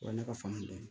O ye ne ka fanga dɔ ye